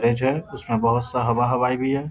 Fridge है उसमे बहुत-सा हवा हवाई भी है।